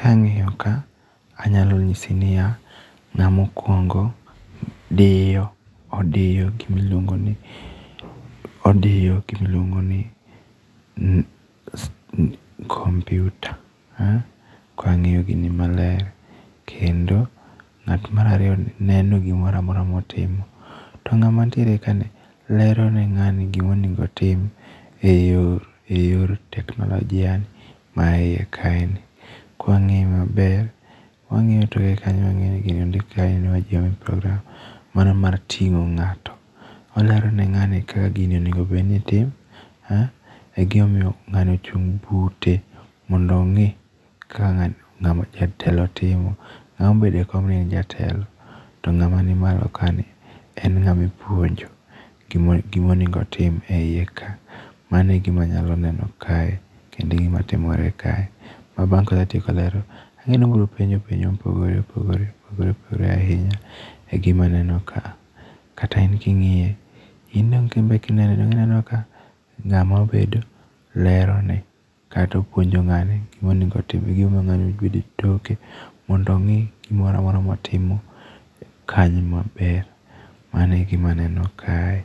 Kang'iyo ka, anyalo nyisi ni ya, ng'ama okuongo diyo odiyo gima iluongo ni, odiyo gima iluongo ni computer. Kang'iyo gini maler. Kendo ng'at mar ariyo ni neno gimoramora motimo. To ng'ama nitiere kaendi lero ne ng'ani gima onego otim e yor teknolojia ni ma iye kae ni. Kwang'iye maber, wang'iyo toke kanyo waneno ni gini ondik ni inua jamii programme. Mano mar ting'o ng'ato. Olero ne ng'ani kaka gini onego bed ni tim. E gima omiyo ng'ani ochung' bute mondo ong'i kaka jatelo timo. Ng'ama obedo e kom ni en jatelo. To ng'ama ni malo ka ni, en ng'ama ipuonjo gima onego otim e iye kae. Mano e gima anyalo neno ka, kendo e gima timore ka. Ma bang' kosetieko ler, ang'e ni obiro penjo penjo mopogore opogore opogore opogore ahinya e gima aneno kaa. Kata in king'iye, in dong' inbe kineno dong' ineno ka ng'ama obedo lero ne kata opuonjo ng'ani gima onego otim. E gima omiyo ng'ani obedo e toke. Mondo ong'i gimoramora motimo kanyo maber. Mano e gima aneno kae.